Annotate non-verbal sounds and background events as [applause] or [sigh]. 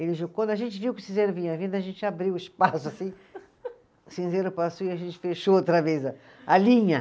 [unintelligible] Quando a gente viu que o cinzeiro vinha vindo, a gente abriu o espaço assim, [laughs] o cinzeiro passou e a gente fechou outra vez a, a linha.